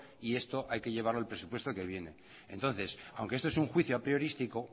y esto hay que llevarlo al presupuesto que viene entonces aunque esto es un juicio apriorístico